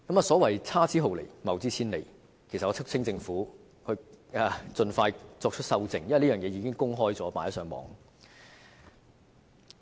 所謂差之毫釐，謬之千里，我促請政府盡快修正，因為這已在互聯網上公開。